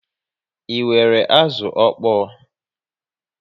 Ị nwèrè azụ ọkpọ?